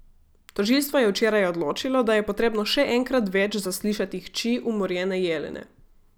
Tožilstvo je včeraj odločilo, da je potrebno še enkrat več zaslišati hči umorjene Jelene.